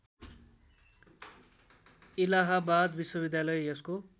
इलाहाबाद विश्वविद्यालय यसको